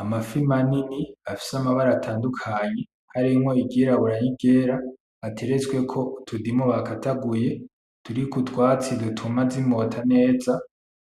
Amafi manini afise amabara atadukanye harimwo iry'irabura n'iryera ateretsweko utundimu bakataguye turiko utwatsi dutuma z'imota neza